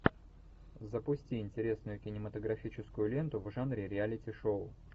запусти интересную кинематографическую ленту в жанре реалити шоу